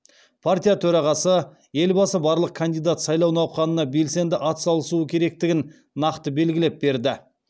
партия төрағасы елбасы барлық кандидат сайлау науқанына белсенді атсалысуы керектігін нақты белгілеп берді